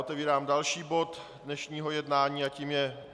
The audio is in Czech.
Otevírám další bod dnešního jednání a tím je